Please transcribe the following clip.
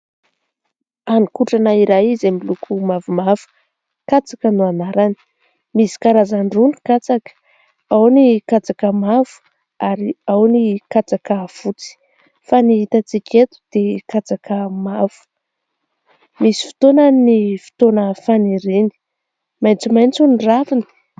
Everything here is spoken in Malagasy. Haninkotrana iray izay miloko mavomavo katsaka no anarany. Misy karazan-droa ny katsaka : ao ny katsaka mavo ary ao ny katsaka fotsy ; fa ny hitantsika eto dia katsaka mavo. Misy fotoana ny fotoana faniriny maitsomaitso ny raviny.